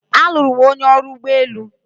Alụrụ m onye ọrụ ụgbọ elu.